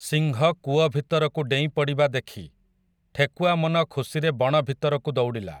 ସିଂହ କୂଅ ଭିତରକୁ ଡ଼େଇଁ ପଡ଼ିବା ଦେଖି, ଠେକୁଆ ମନ ଖୁସିରେ ବଣ ଭିତରକୁ ଦୌଡ଼ିଲା ।